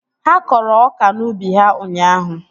Ha kọrọ ọka n'ubi ha ụnyaahụ